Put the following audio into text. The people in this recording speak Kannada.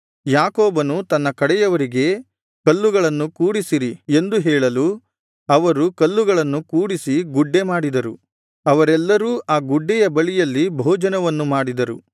ಯಾಕೋಬನು ತನ್ನ ಕಡೆಯವರಿಗೆ ಕಲ್ಲುಗಳನ್ನು ಕೂಡಿಸಿರಿ ಎಂದು ಹೇಳಲು ಅವರು ಕಲ್ಲುಗಳನ್ನು ಕೂಡಿಸಿ ಗುಡ್ಡೆ ಮಾಡಿದರು ಅವರೆಲ್ಲರೂ ಆ ಗುಡ್ಡೆಯ ಬಳಿಯಲ್ಲಿ ಭೋಜನವನ್ನು ಮಾಡಿದರು